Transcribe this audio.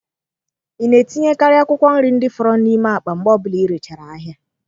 Ị na-etinyekarị akwụkwọ nri ndị fọrọ n'ime akpa mgbe ọbụla ịrechara ahịa?